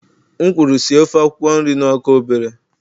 M kwuru sie ofe akwukwo nri na ọkụ obere!